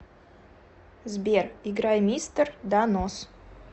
сбер играй мистер да нос